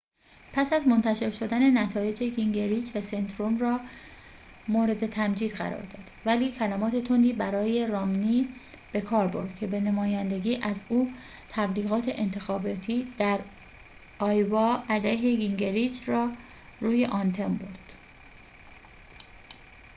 پس از منتشر شدن نتایج گینگریچ سنتوروم را مورد تمجید قرار داد ولی کلمات تندی برای رامنی بکار برد که به نمایندگی از او تبلیغات انتخاباتی در آیووا علیه گینگریچ را روی آنتن برد